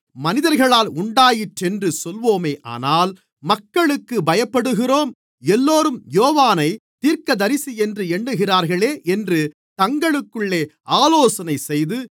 மனிதர்களால் உண்டாயிற்றென்று சொல்வோமானால் மக்களுக்குப் பயப்படுகிறோம் எல்லோரும் யோவானைத் தீர்க்கதரிசியென்று எண்ணுகிறார்களே என்று தங்களுக்குள்ளே ஆலோசனைசெய்து